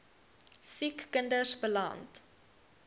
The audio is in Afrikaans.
siek kinders beland